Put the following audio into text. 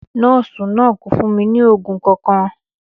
Nọọsi naa ko fun mi ni oogun kankan.